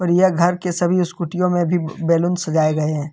यह घर के सभी स्कूटीयों में भी बैलून सजाए गए हैं।